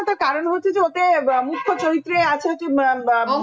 মুখ্য চরিত্রে আছে যে